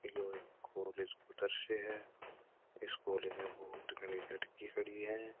यो एक कॉलेज को दर्शय है इसमें बहुत घनी लड़की खड़ी है।